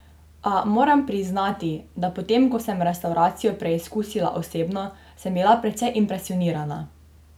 A, moram priznati, da potem ko sem restavracijo preizkusila osebno, sem bila precej impresionirana.